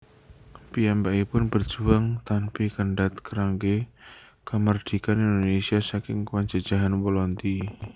Piyambakipun berjuang tanpi kendhat kanggé kamardhikan Indonésia saking penjejehan Walandi